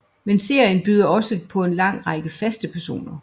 Men serien byder også på en lang række faste personer